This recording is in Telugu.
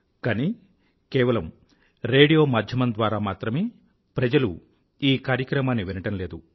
కానీ కేవలం రేడియో మాధ్యమం ద్వారా మాత్రమే ప్రజలు ఈ కార్యక్రమాన్ని వినటం లేదు